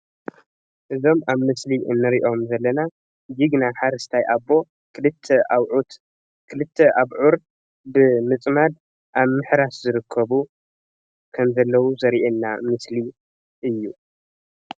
እዞም ኣብ ምስሊ እንሪኦም ዘለና ጅግና ሓረስታይ ኣቦ ክልተ ኣብዑር ብምጽማድ ኣብ ምሕራስ ዝርከቡ ከምዘለዉ ዘርእየና ምስሊ እዩ።